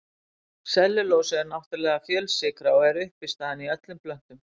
Sellulósi er náttúrleg fjölsykra og er uppistaðan í öllum plöntum.